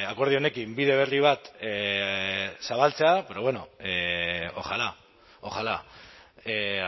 akordio honekin bide berri bat zabaltzea pero bueno ojalá ojalá